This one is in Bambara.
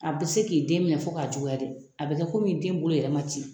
A bɛ se k'i den minɛ fɔ k'a juguya de a bɛ kɛ komi den bolo yɛrɛ man ci.